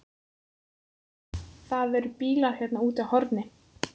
Það eru bílar hérna úti á horni.